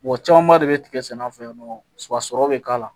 Mɔgɔ camanba de be tigɛ sɛnɛ an fɛ yan nɔ sa wa sɔrɔ be k'a la